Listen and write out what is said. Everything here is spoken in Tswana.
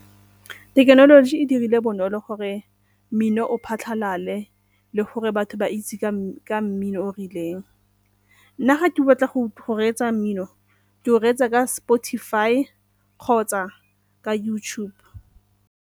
Thekenoloji e dirile bonolo gore mmino o phatlhalale le gore batho ba itse ka mmino o o rileng. Nna ga ke batla go reetsa mmino ke o reetsa ka Spotify kgotsa ka YouTube.